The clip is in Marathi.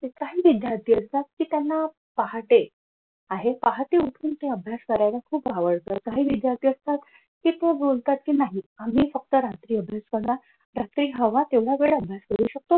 काही विद्यार्थी असतात कि त्यांना पहाटे आहे पहाटे उठून अभ्यास करायला खुप आवडत काही विद्यार्थी असतात कि ते बोलतात कि नाही आम्ही फक्त रात्री अभ्यास करणार रात्री हवा तेवढं यावेळी अभ्यास करू शकतो.